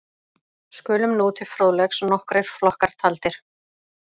Skulu nú til fróðleiks nokkrir flokkar taldir.